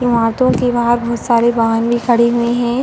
के बाहर बोहोत सारे वाहन भी खड़े हुए हैं।